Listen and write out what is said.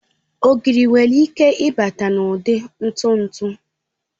Ogiri nwere ike ịbata n'ụdị ntụ ntụ